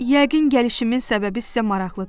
Yəqin gəlişimin səbəbi sizə maraqlıdır.